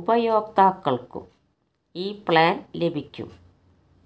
ഉപയോക്താക്കള്ക്കും ഈ പ്ലാന് ലഭിക്കും